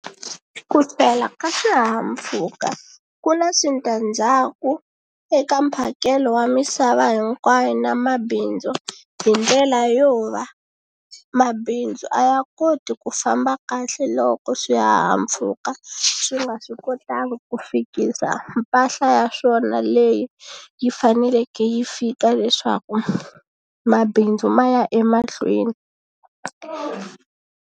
Ku hlwela ka swihahampfhuka ku na switandzhaku eka mphakelo wa misava hinkwayo na mabindzu hi ndlela yo va mabindzu a ya koti ku famba kahle loko swihahampfhuka swi nga swi kotangi ku fikisa mpahla ya swona leyi yi faneleke yi fika leswaku mabindzu ma ya emahlweni.